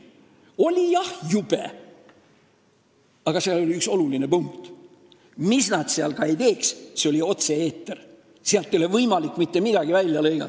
Oli jah jube, aga üks oluline asi oli see, et mis nad seal ka ei teinud, me olime otse eetris, sealt ei olnud võimalik mitte midagi välja lõigata.